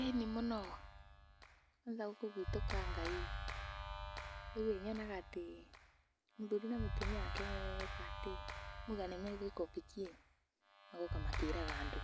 ĩĩni mũno kwanza gũkũ gwitũ Kangai rĩu ĩĩ nyonaga atĩ mũthuri na mũtumia wake meka atĩ moiga nĩmegwĩka ũbiki ĩĩ, magoka makĩraga andũ